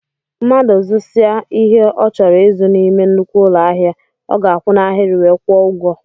Mmadụ zusia ihe ọ chọrọ ịzụ n'ime nnukwu ụlọ ahịa, ọ ga akwụ na ahiri wee kwụọ ụgwọ